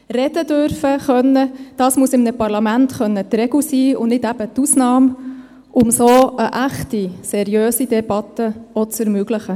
Reden zu dürfen, dies muss in einem Parlament die Regel sein, und eben nicht die Ausnahme, um so auch eine echte, seriöse Debatte zu ermöglichen.